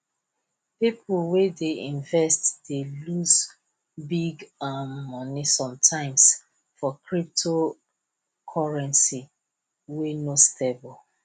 people wey dey invest dey loss big um money sometimes for cyptocurrency wey no stable